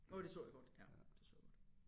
Åh det så jeg godt ja det så jeg godt